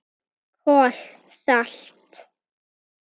KOL SALT